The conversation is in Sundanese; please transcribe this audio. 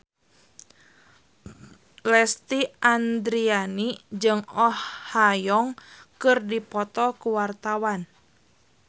Lesti Andryani jeung Oh Ha Young keur dipoto ku wartawan